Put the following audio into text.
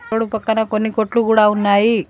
Road పక్కన కొన్ని కొట్లు కూడా ఉన్నాయి.